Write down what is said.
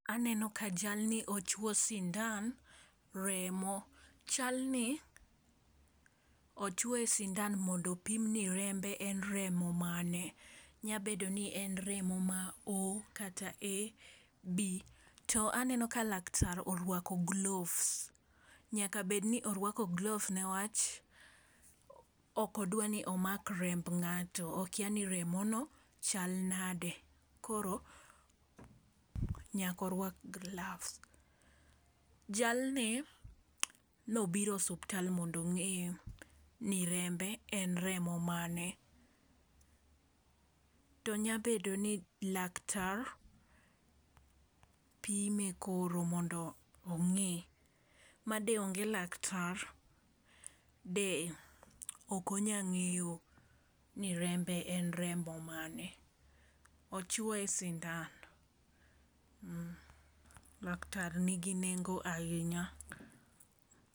Aneno ka jalni ochwo sindan remo. Chalni ochuoye sindan mondo opime ni rembe en remo mane nya bedo ni en remo ma o kata ab. To aneno ka laktar orwako gloves nyaka bed ni orwako gloves newach ok odwa ni omak remb ng'ato okia ni remo no chal nade koro nyako rwak gloves. Jalni nobiro osuptal mondo ong'e ni rembe en remo mane to nya bedo ni laktar pime koro mondo ong'e. Made onge laktar de ok onya ng'eyo ni rembe en remo mane. Ochuoye sindan laktar nigi nengo ahinya.